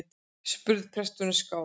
spurði presturinn skjálf